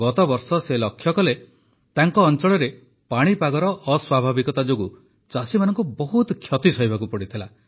ଗତବର୍ଷ ସେ ଲକ୍ଷ୍ୟ କଲେ ଯେ ତାଙ୍କ ଅଞ୍ଚଳରେ ପାଣିପାଗର ଅସ୍ୱାଭାବିକତା ଯୋଗୁଁ ଚାଷୀମାନଙ୍କୁ ବହୁତ କ୍ଷତି ସହିବାକୁ ପଡ଼ିଥିଲା